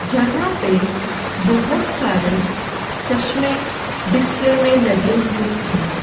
जहाँ पे बहोत सारे चश्मे डिस्प्ले में लगे हुए हैं।